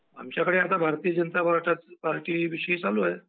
आमच्याकडे सध्या भारतीय जनता पार्टी विषय चालू आहे.